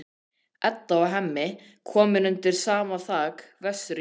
Edda og Hemmi komin undir sama þak vestur í bæ.